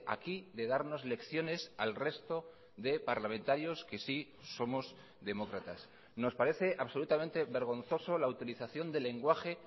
aquí de darnos lecciones al resto de parlamentarios que sí somos demócratas nos parece absolutamente vergonzoso la utilización del lenguaje